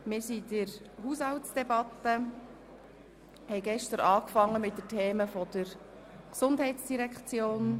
Wir befinden uns in der Haushaltsdebatte und haben gestern mit den Themen der GEF begonnen.